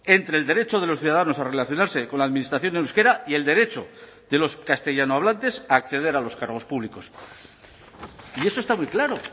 entre el derecho de los ciudadanos a relacionarse con la administración en euskera y el derecho de los castellanohablantes a acceder a los cargos públicos y eso está muy claro